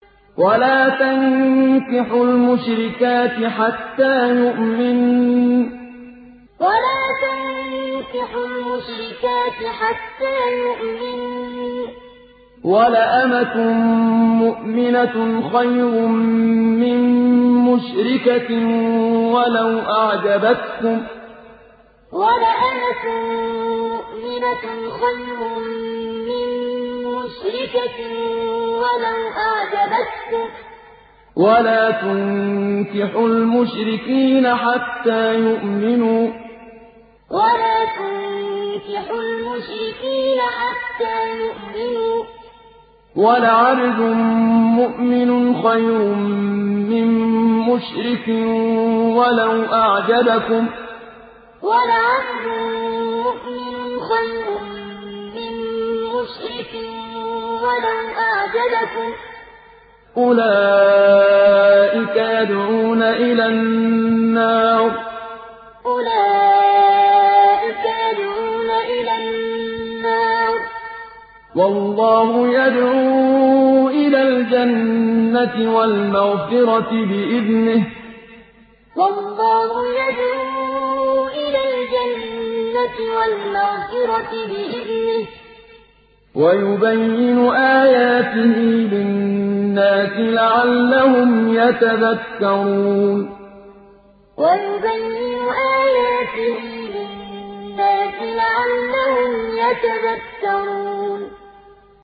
وَلَا تَنكِحُوا الْمُشْرِكَاتِ حَتَّىٰ يُؤْمِنَّ ۚ وَلَأَمَةٌ مُّؤْمِنَةٌ خَيْرٌ مِّن مُّشْرِكَةٍ وَلَوْ أَعْجَبَتْكُمْ ۗ وَلَا تُنكِحُوا الْمُشْرِكِينَ حَتَّىٰ يُؤْمِنُوا ۚ وَلَعَبْدٌ مُّؤْمِنٌ خَيْرٌ مِّن مُّشْرِكٍ وَلَوْ أَعْجَبَكُمْ ۗ أُولَٰئِكَ يَدْعُونَ إِلَى النَّارِ ۖ وَاللَّهُ يَدْعُو إِلَى الْجَنَّةِ وَالْمَغْفِرَةِ بِإِذْنِهِ ۖ وَيُبَيِّنُ آيَاتِهِ لِلنَّاسِ لَعَلَّهُمْ يَتَذَكَّرُونَ وَلَا تَنكِحُوا الْمُشْرِكَاتِ حَتَّىٰ يُؤْمِنَّ ۚ وَلَأَمَةٌ مُّؤْمِنَةٌ خَيْرٌ مِّن مُّشْرِكَةٍ وَلَوْ أَعْجَبَتْكُمْ ۗ وَلَا تُنكِحُوا الْمُشْرِكِينَ حَتَّىٰ يُؤْمِنُوا ۚ وَلَعَبْدٌ مُّؤْمِنٌ خَيْرٌ مِّن مُّشْرِكٍ وَلَوْ أَعْجَبَكُمْ ۗ أُولَٰئِكَ يَدْعُونَ إِلَى النَّارِ ۖ وَاللَّهُ يَدْعُو إِلَى الْجَنَّةِ وَالْمَغْفِرَةِ بِإِذْنِهِ ۖ وَيُبَيِّنُ آيَاتِهِ لِلنَّاسِ لَعَلَّهُمْ يَتَذَكَّرُونَ